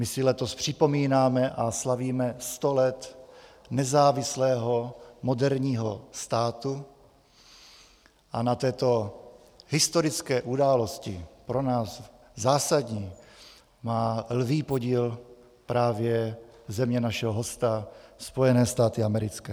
My si letos připomínáme a slavíme sto let nezávislého moderního státu a na této historické události, pro nás zásadní, má lví podíl právě země našeho hosta, Spojené státy americké.